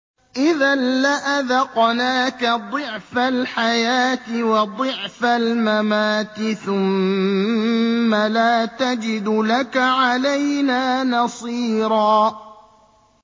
إِذًا لَّأَذَقْنَاكَ ضِعْفَ الْحَيَاةِ وَضِعْفَ الْمَمَاتِ ثُمَّ لَا تَجِدُ لَكَ عَلَيْنَا نَصِيرًا